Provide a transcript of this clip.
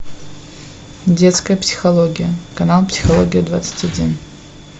детская психология канал психология двадцать один